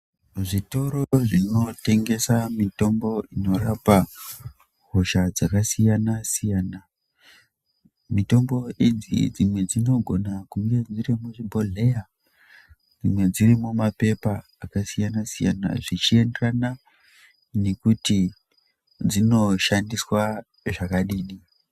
Zvitora zvinotengesa mitombo inorapa hosha dzakasiyana siyana mitombo idzi dzimwe dzinogona kunge dziri muzvibhodhleya dzimwe dziri mumapepa akasiyana siyana dzichienderana nekuti dzinoshandiswa zvakadini.